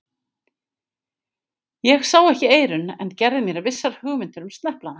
Ég sá ekki eyrun, en gerði mér vissar hugmyndir um sneplana.